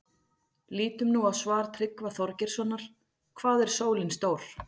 Lítum nú á svar Tryggva Þorgeirssonar, Hvað er sólin stór?